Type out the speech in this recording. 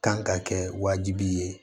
Kan ka kɛ wajibi ye